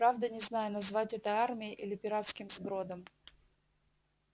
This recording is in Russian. правда не знаю назвать это армией или пиратским сбродом